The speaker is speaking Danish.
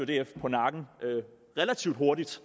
df på nakken relativt hurtigt